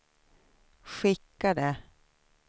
skickade